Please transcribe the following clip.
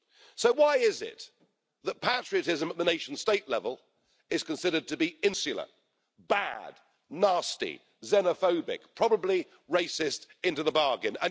So why is it that patriotism at the nation state level is considered to be insular, bad, nasty, xenophobic, probably racist into the bargain?